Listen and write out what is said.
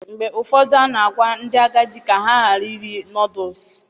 Mgbe ụfọdụ, a na-agwa ndị agadi ka ha ghara iri Nọdụs